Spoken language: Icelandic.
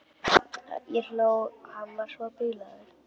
Ég hló, hann var svo bilaður.